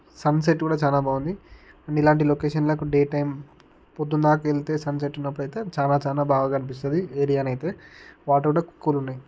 Sun set కూడా చాలా బాగుంది అండ్ ఇలాంటి లొకేషన్ లో అయితే డే టైం పొద్దున్నాకెళ్తే సన్ సెట్ ఉన్నప్పుడైతే చాలా చాలా బాగా కనిపిస్తుంది ఏరియా నైతే వాటర్ కూడా కూల్ ఉన్నాయి.